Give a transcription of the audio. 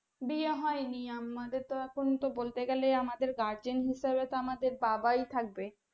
বিয়ে হয়নি আমাদের তো এখন তো বলতে গেলে আমাদের gergen হিসাবে তো আমাদের বাবাই থাকবে